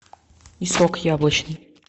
и сок яблочный